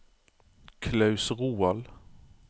Claus Roald